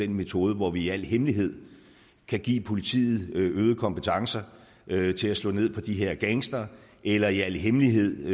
den metode hvor vi i al hemmelighed kan give politiet øgede kompetencer til at slå ned på de her gangstere eller i al hemmelighed